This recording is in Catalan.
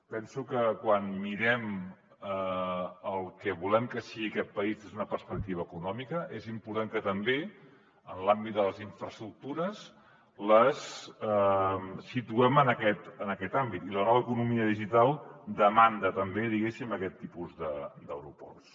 penso que quan mirem el que volem que sigui aquest país des d’una perspectiva econòmica és important que també en l’àmbit de les infraestructures les situem en aquest àmbit i la nova economia digital demanda també diguéssim aquest tipus d’aeroports